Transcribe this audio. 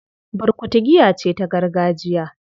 Burkutu giya ce ta gargajiya